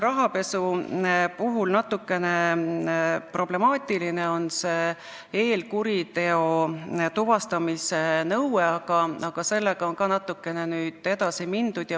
Rahapesu puhul on pisut problemaatiline see eelkuriteo tuvastamise nõue, aga sellega on ka natukene edasi mindud.